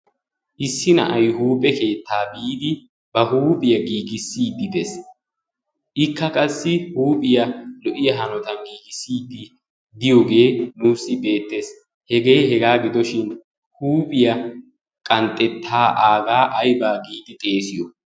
issi na'ay huuphe keettaa biidi ba huuphiyaa giigissiiddi dees. ikka qassi huuphiyaa lo"iyaa hanotan giigissiiddi diyoogee nuussi beettees hegee hegaa gidoshin huuphiyaa qanxxettaa aagaa aybaa giidi xeesiyo?